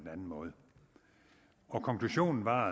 anden måde og konklusionen var